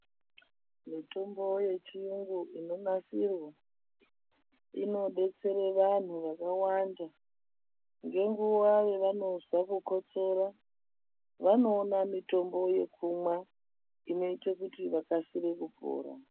Mitombo yechiyungu inonasirwa inodetsere vanhu vakawanda ngenguva yavanonzwa kukotsora, vanoona mitombo yekumwa inoite kuti vakasire kupora.